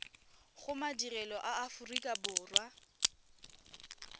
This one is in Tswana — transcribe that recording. go madirelo a aforika borwa